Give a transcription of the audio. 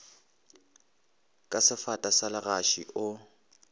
ka sefata sa legaši o